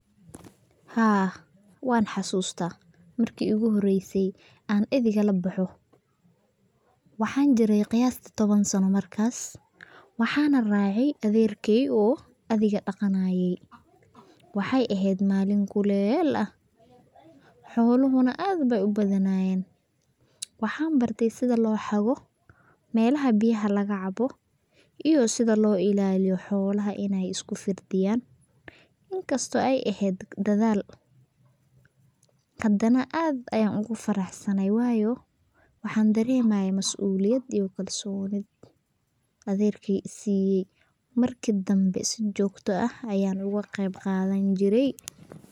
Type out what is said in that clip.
Haa, wan xasuusta, marki igu horeyse an eriga laboxo, waxan jirey qiyastii toban sano markaas, waxana racay adeerkey oo ariga dhaqanaye, waxay ehed malin kuleel ah, xolahuna aad bay ubadnayeen, waxan bartey sida loo xago, malaha biyaha laga caabo iyo sida loo ilaliyo xolaha inay isku firdhiyan sida loo inkasto ay eheyd dadal, hadana aad ayan ogu faraxsanay wayo waxan dareemaye mas'uliyad iyo kalsoni adeerkey isiye, markii dambe si jogta ah ayan oga qeb qadan jire.